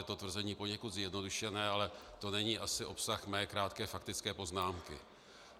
Je to tvrzení poněkud zjednodušené, ale to není asi obsah mé krátké faktické poznámky.